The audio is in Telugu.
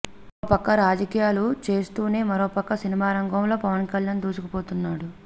ఒక పక్క రాజకీయాలు చేస్తూనే మరో పక్క సినిమారంగంలో పవన్ కళ్యాణ్ దూసుకుపోతున్నాడు